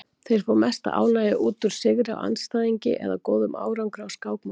Þeir fá mesta ánægju út úr sigri á andstæðingi eða góðum árangri á skákmóti.